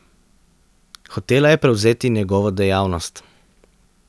Hotela je prevzeti njegovo dejavnost.